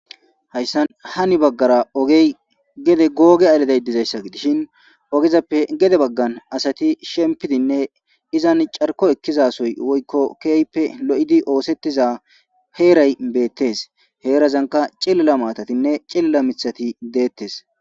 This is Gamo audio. Hayssan hani baggara ogey gede googe aleday dizayssa gidishin ogezappe gede baggan asati shempidinne izan carko ekkizasoy woykko keehippe lo7idi oosettiza heeray beettes. Heerazanka cillila maatatinne cillila mithati deettes.